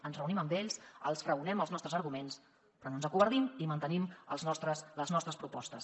ens reunim amb ells els raonem els nostres arguments però no ens acovardim i mantenim les nostres propostes